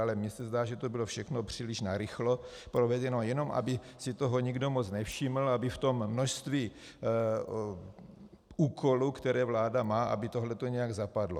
Ale mně se zdá, že to bylo všechno příliš narychlo provedeno, jenom aby si toho nikdo moc nevšiml, aby v tom množství úkolů, které vláda má, aby tohle to nějak zapadlo.